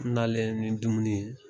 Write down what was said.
N nalen ni dumuni ye